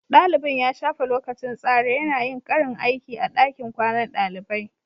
Dalibin ya shafe lokacin tsare yana yin karin aiki a dakin kwanan dalibai